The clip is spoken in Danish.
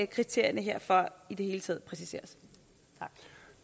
kriterierne herfor i det hele taget præciseres